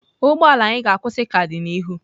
Ụgbọ ala anyị ga-akwụsị ka dị n'ihu.